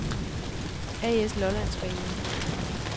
A/S Lollandsbanen